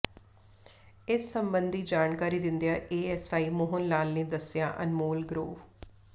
ਇਸ ਸਬੰਧੀ ਜਾਣਕਾਰੀ ਦਿੰਦਿਆਂ ਏਐੱਸਆਈ ਮੋਹਨ ਲਾਲ ਨੇ ਦੱਸਿਆ ਅਨਮੋਲ ਗਰੋਵ